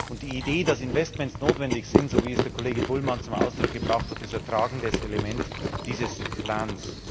Und die Idee, dass Investments notwendig sind so wie es der Kollege Bullmann zum Ausdruck gebracht hat ist ein tragendes Element dieses Plans.